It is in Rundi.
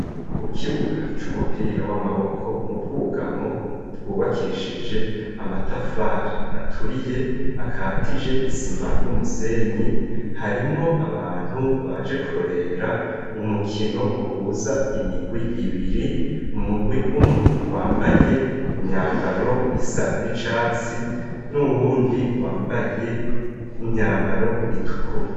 Ku kibuga c'umupira w'amaboko, mu bwugamo bwubakishije amatafari aturiye akatije isima n'umusenyi, harimwo abantu baje kurorera umukino uhuza imigwi ibiri, umugwi umwe wambaye imyambaro isa n'icatsi n'uwundi wambaye imyambaro itukura.